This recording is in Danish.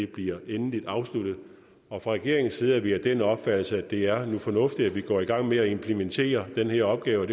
bliver endeligt afsluttet og fra regeringens side er vi af den opfattelse at det er fornuftigt at vi går i gang med at implementere den her opgave